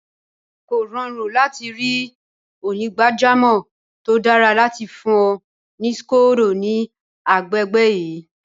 Kò rọrùn láti ri onígbàjamọ̀ tó dára láti fún ọ ní scodo ní agbègbè yìí.